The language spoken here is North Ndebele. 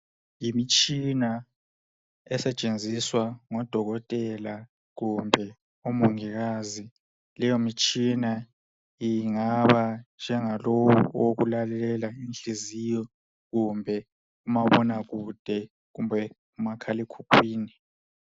Yimitshina esetshenziswa ngodokotela kumbe omongikazi leyo mitshina ingaba njengalowo owokulalele inhliziyo kumbe umabonakude kumbe umakhalemkhukhwini.